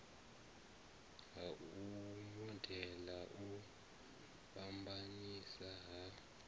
ha modele u fhambanesa ha